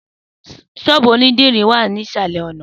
Sọ́ọ́bú onidiri wa ni isalẹ ọna.